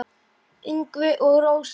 Ingvi og Rósa.